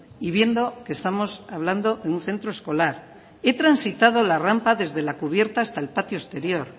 y viendo que estamos hablando de un centro escolar he transitado la rampa desde la cubierta hasta el patio exterior